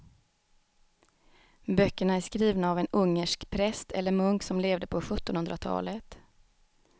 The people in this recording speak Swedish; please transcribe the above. Böckerna är skrivna av en ungersk präst eller munk som levde på sjuttonhundratalet.